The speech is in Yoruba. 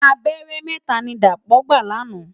Àbèrè mètá ni Dapo gbá làná